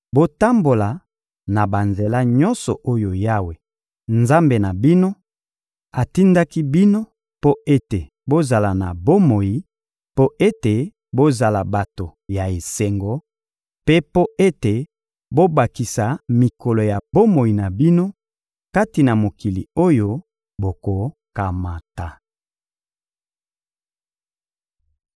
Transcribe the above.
Botambola na banzela nyonso oyo Yawe, Nzambe na bino, atindaki bino mpo ete bozala na bomoi, mpo ete bozala bato ya esengo, mpe mpo ete bobakisa mikolo ya bomoi na bino kati na mokili oyo bokokamata.